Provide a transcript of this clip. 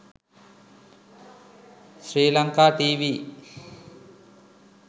sri lanka tv